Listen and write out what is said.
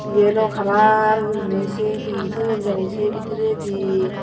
Yellow calar gorinei sye he toyon jani se bidiredi.